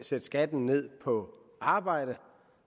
sætte skatten ned på arbejde